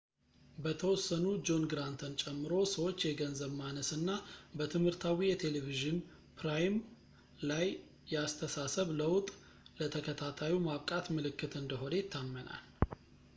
በተወሰኑ ጆን ግራንትን ጨምሮ ሰዎች የገንዘብ ማነስ እና በትምህርታዊ የቴሌቪዥን ፕሮራም ላይ የአስተሳሰብ ለውጥ ለተከታታዩ ማብቃት ምልክት እንደሆነ ይታመናል